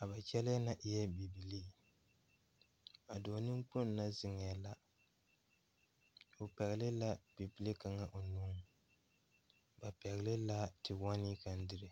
a ba kyɛlɛɛ na eɛɛ bibilii a dɔɔ neŋkpoŋ na zeŋɛɛ la o pɛgle la a bibile kaŋa o nuŋ ba pɛgle la te wɔnee kaŋ dire.